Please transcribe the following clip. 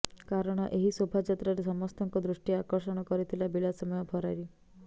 କାରଣ ଏହି ଶୋଭାଯାତ୍ରାରେ ସମସ୍ତଙ୍କ ଦୃଷ୍ଟି ଆକର୍ଷଣ କରିଥିଲା ବିଳାସମୟ ଫରାରୀ